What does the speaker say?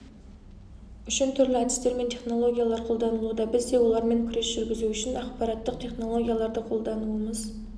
үшін түрлі әдістер мен технологиялар қолданылуда біз де олармен күрес жүргізу үшін ақпараттық технологияларды қолдануымыз